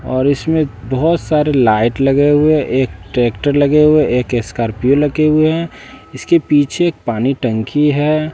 और इसमें बहोत सारी लाइट लगे हुए एक ट्रैक्टर लगे हुए एक स्कॉर्पियो लगे हुए हैं इसके पीछे पानी टंकी है।